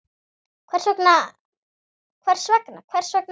Hvers vegna, hvers vegna ekki?